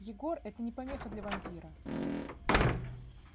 егор это не помеха для вампира